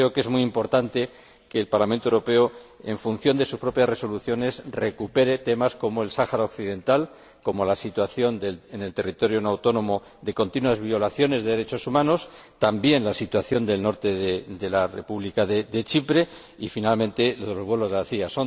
Yo creo que es muy importante que el Parlamento Europeo, en línea con sus propias resoluciones, recoja temas como el Sáhara Occidental y la situación en ese territorio no autónomo, con continuas violaciones de derechos humanos, así como la situación del norte de la República de Chipre y, finalmente, los vuelos de la CIA.